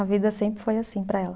A vida sempre foi assim para ela.